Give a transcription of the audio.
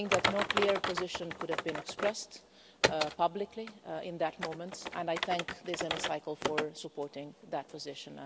No clear position could have been expressed publicly at that moment, and I thank this Hemicycle for supporting that position.